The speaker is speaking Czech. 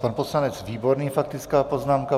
Pan poslanec Výborný, faktická poznámka.